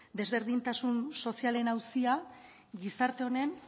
desberdintasun sozialen auzia gizarte honen